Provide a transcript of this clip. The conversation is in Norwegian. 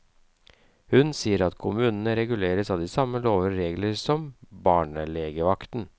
Hun sier at kommunene reguleres av de samme lover og regler som barnelegevakten.